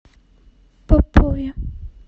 попове